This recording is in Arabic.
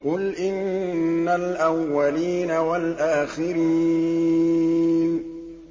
قُلْ إِنَّ الْأَوَّلِينَ وَالْآخِرِينَ